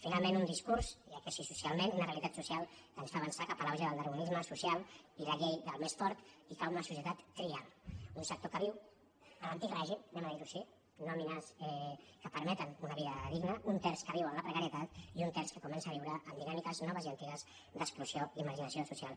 finalment un discurs hi ha crisi socialment una realitat social que ens fa avançar cap a l’auge del dar·winisme social i la llei del més fort i cap a una socie·tat trial un sector que viu a l’antic règim diguem·ho així nòmines que permeten una vida digna un terç que viu en la precarietat i un terç que comença a viure amb dinàmiques noves i antigues d’exclusió o margi·nació social